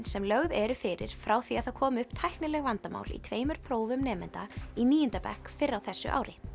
sem lögð eru fyrir frá því að það komu upp tæknileg vandamál í tveimur prófum nemenda í níunda bekk fyrr á þessu ári